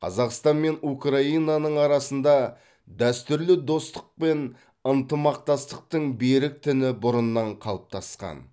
қазақстан мен украинаның арасында дәстүрлі достық пен ынтымақтастықтың берік тіні бұрыннан қалыптасқан